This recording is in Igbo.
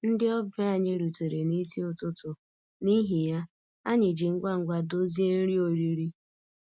Ndị ọbịa anyị rutere n'isi ụtụtụ, n'ihi ya, anyị ji ngwa ngwa dozie nri oriri